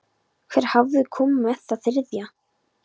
Hver hafði komið með það þriðja?